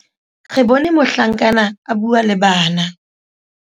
re bone mohlankana a bua le bana